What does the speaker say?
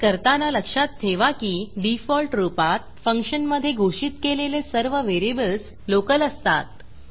हे करताना लक्षात ठेवा की डिफॉल्ट रूपात फंक्शनमधे घोषित केलेले सर्व व्हेरिएबल्स लोकल असतात